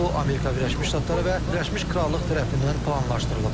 NATO, Amerika Birləşmiş Ştatları və Birləşmiş Krallıq tərəfindən planlaşdırılıb.